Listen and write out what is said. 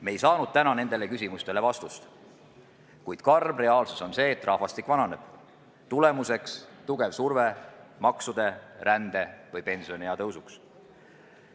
Me ei saanud täna nendele küsimustele vastust, kuid karm reaalsus on see, et rahvastik vananeb, ning selle tulemuseks on tugev surve maksude, rände või pensioniea suurendamiseks.